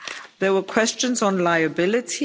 There were questions on liability.